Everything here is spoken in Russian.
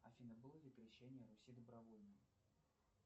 афина было ли крещение руси добровольным